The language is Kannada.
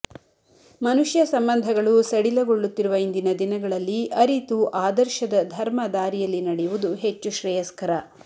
ಮನುಷ್ಯ ಸಂಬಂಧಗಳು ಸಡಿಲಗೊಳ್ಳುತ್ತಿರುವ ಇಂದಿನ ದಿನಗಳಲ್ಲಿ ಅರಿತು ಆದರ್ಶದ ಧರ್ಮ ದಾರಿಯಲ್ಲಿ ನಡೆಯುವುದು ಹೆಚ್ಚು ಶ್ರೇಯಸ್ಕರ